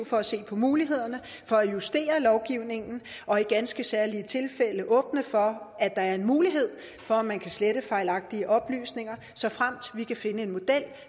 for at se på mulighederne for at justere lovgivningen og i ganske særlige tilfælde åbne for at der er mulighed for at man kan slette fejlagtige oplysninger såfremt vi kan finde en model